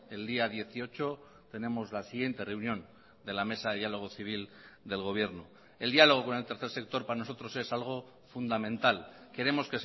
el día dieciocho tenemos la siguiente reunión de la mesa de diálogo civil del gobierno el diálogo con el tercer sector para nosotros es algo fundamental queremos